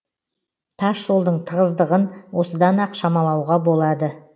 тас жолдың тығыздығын осыдан ақ шамалауға болады